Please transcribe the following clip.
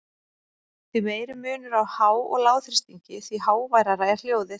Því meiri munur á há- og lágþrýstingi, því háværara er hljóðið.